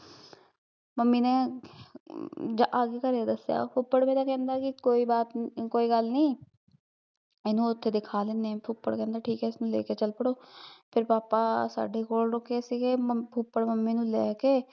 mummy ਨੇ ਜਦ ਆਕੇ ਘਰੇ ਦੱਸਿਆ ਫੁੱਫੜ ਮੇਰਾ ਕਹਿੰਦਾ ਕੀ ਕੋਈ ਬਾਤ ਕੋਈ ਗੱਲ ਨੀ ਇਹਨੂੰ ਓਥੇ ਦਿਖਾ ਲੈਂਦੇ ਫੁੱਫੜ ਕਹਿੰਦਾ ਠੀਕ ਐ ਇਸਨੂੰ ਲੈ ਕੇ ਚੱਲ ਪੜੋ ਫੇਰ ਪਾਪਾ ਸਾਡੇ ਕੋਲ ਰੁਕੇ ਸੀਗੇ, ਫੁੱਫੜ ਮੰਮੀ ਨੂੰ ਲੈ ਕੇ